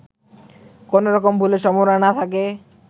কোনরকম ভুলের সম্ভাবনা না থাকে